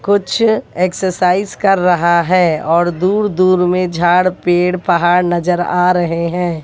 कुछ एक्सरसाइज कर रहा है और दूर दूर में झाड़ पेड़ पहाड़ नजर आ रहे हैं।